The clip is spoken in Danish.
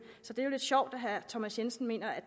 så det er jo lidt sjovt at herre thomas jensen mener at